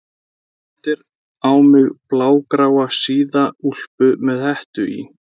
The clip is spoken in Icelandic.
Þú valdir á mig blágráa síða úlpu með hettu í